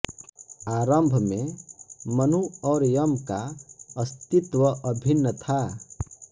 आरंभ में मनु और यम का अस्तित्व अभिन्न था